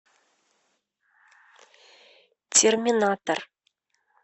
терминатор